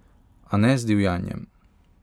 A ne z divjanjem!